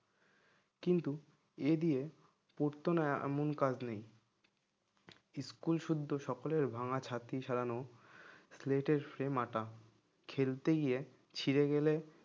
কিন্তু এ দিয়ে করতো না এমন কাজ নেই school শুদ্ধ সকলে ভাঙা ছাত্রী সারানো plate এর ফ্রেম আটা খেলতে গিয়ে ছিড়ে গেলে